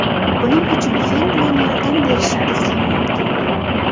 Buning uchun fen bilan yordam berishingiz ham mumkin.